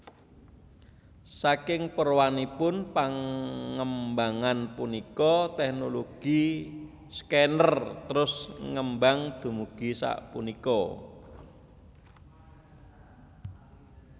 Saking purwanipun pangembangan punika teknologi scanner trus ngembang dumugi sapunika